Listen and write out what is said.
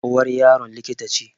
Uwar Yaron likita ce